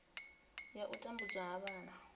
ya u tambudzwa ha vhana